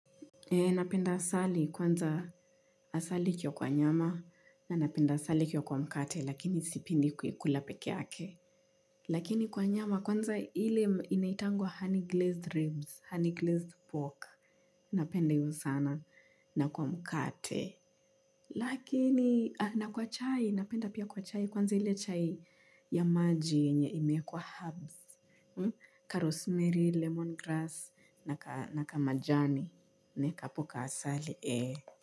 Napenda asali kwanza asali ikiwa kwa nyama na napenda asali ikiwa kwa mkate lakini sipinde kuikula pekee yake. Lakini kwa nyama kwanza ili inaitangwa honey glazed ribs, honey glazed pork. Napenda hiyo sana na kwa mkate. Lakini na kwa chai, napenda pia kwa chai kwanza ile chai ya maji yenye imeekwa herbs. Ka rosemeri, lemon grass na kamajani naeka hapo kaasali. Eeehh.